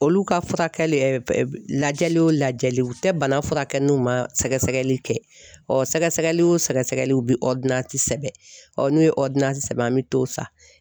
Olu ka furakɛli lajɛ o lajɛliw, u tɛ bana furakɛ n'u ma sɛgɛsɛgɛli kɛ , ɔ sɛgɛsɛgɛli o sɛgɛsɛgɛliw bi sɛbɛn n'u ye sɛbɛn, an be t'o san.